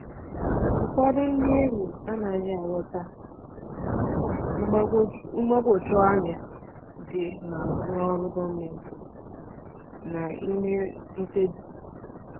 Ụfọdụ ndị enyi anaghị aghọta mgbagwoju anya dị n'azụ ọrụ gọọmentị na ime mkpebi.